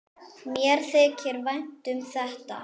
Mér þykir vænt um þetta.